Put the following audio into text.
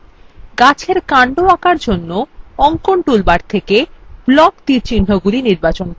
গাছএর কান্ড আঁকার জন্য অঙ্কন toolbar থেকে block তীরচিহ্নগুলি নির্বাচন করুন